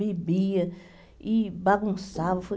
Bebia e bagunçava.